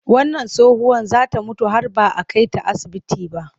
Wannan tsohuwar za ta mutu har ba a kai ta asibiti ba.